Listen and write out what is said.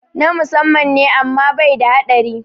Na musamman ne amma bai da haɗari